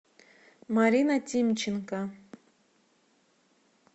марина тимченко